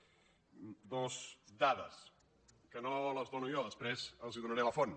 dues dades que no les dono jo després els en donaré la font